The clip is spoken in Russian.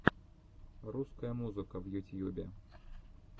русская музыка в ютьюбе